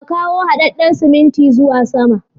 Ka kawo haɗaɗɗan siminti zuwa sama.